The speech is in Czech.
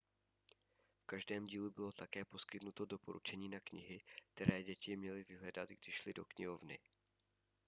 v každém dílu bylo také poskytnuto doporučení na knihy které děti měly vyhledat když šly do knihovny